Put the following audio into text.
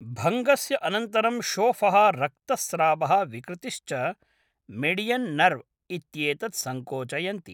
भङ्गस्य अनन्तरं शोफः रक्तस्रावः विकृतिश्च मेडियन् नर्व् इत्येतत् सङ्कोचयन्ति।